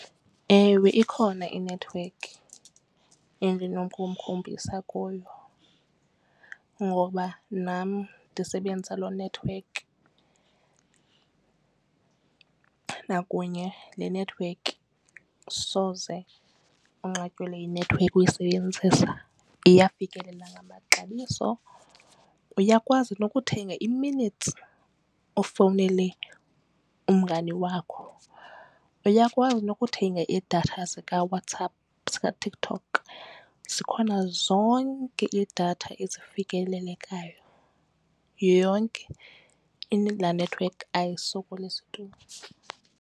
Ewe, ikhona inethiwekhi endinokumkhombisa kuyo ngoba nam ndisebenzisa loo nethiwekhi. Nakunye le nethiwekhi soze unqatyelwe yinethiwekhi uyisebenzisa iyafikelela ngamaxabiso. Uyakwazi nokuthenga i-minutes ufowunele umngani wakho. Uyakwazi nokuthenga idatha zikaWhatsApp zikaTikTok zikhona zonke idatha ezifikelelekayo yonke laa network ayisokolisi tu.